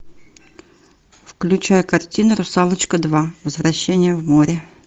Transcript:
включай картину русалочка два возвращение в море